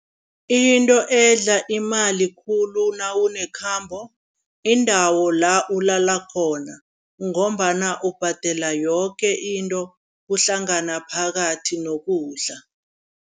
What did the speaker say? Into edla imali khulu nawunekhambo, iindawo la ulala khona ngombana ubhadela yoke into kuhlangana phakathi nokudla.